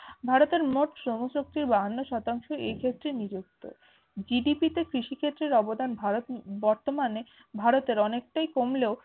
ভারতের মোট শ্রমশক্তির বাহান্ন শতাংশ এই ক্ষেত্রে নিযুক্ত। GDP তে কৃষিক্ষেতের অবদান ভারত বর্তমানে ভারতের অনেকটাই কমলেও